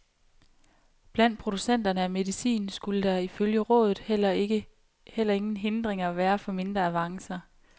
Blandt producenterne af medicin skulle der, ifølge rådet, heller ingen hindringer være for mindre avancer.